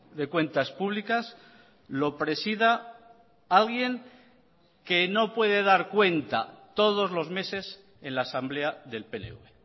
de cuentas públicas lo presida alguien que no puede dar cuenta todos los meses en la asamblea del pnv